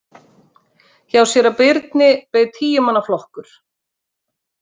Hjá síra Birni beið tíu manna flokkur.